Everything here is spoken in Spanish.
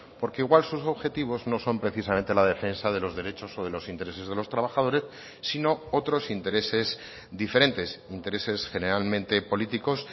porque igual sus objetivos no son precisamente la defensa de los derechos o de los intereses de los trabajadores sino otros intereses diferentes intereses generalmente políticos